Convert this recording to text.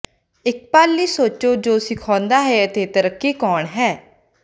ਇਕ ਪਲ ਲਈ ਸੋਚੋ ਜੋ ਸਿਖਾਉਂਦਾ ਹੈ ਅਤੇ ਤੈਰਾਕੀ ਕੌਣ ਹੈ